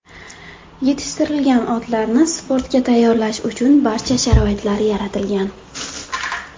Yetishtirilgan otlarni sportga tayyorlash uchun barcha sharoitlar yaratilgan.